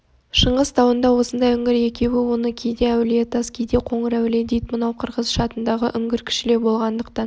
шыңғыс тауында осындай үңгір екеуі оны кейде әулие-тас кейде қоңыр-әулие дейд мынау қырғыз-шатындағы үңгір кішілеу болғандықтан